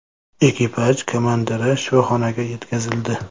Ekipaj komandiri shifoxonaga yetkazildi.